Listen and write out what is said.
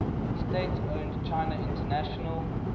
state owned china international